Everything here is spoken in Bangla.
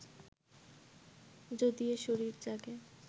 যদি এ শরীর জাগে